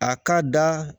A ka da